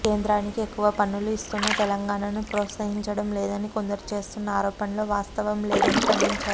కేంద్రానికి ఎక్కువ పన్నులు ఇస్తోన్న తెలంగాణను ప్రోత్సహించటం లేదని కొందరు చేస్తోన్న ఆరోపణల్లో వాస్తవం లేదని ఖండించారు